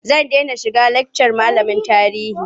Zan dena shiga lakcar malamin tarihi.